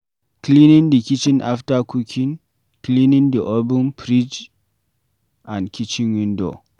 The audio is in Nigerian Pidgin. Cleaning the kitchen after cooking vs cleaning the oven, fridge and kitchen window